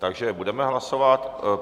Takže budeme hlasovat.